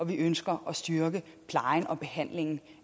vi ønsker at styrke plejen og behandlingen